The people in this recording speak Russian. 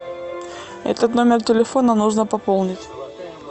этот номер телефона нужно пополнить